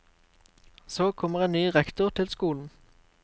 Så kommer en ny rektor til skolen.